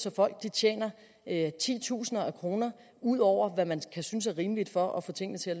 at folk tjener titusinder af kroner ud over hvad man kan synes er rimeligt for at få tingene til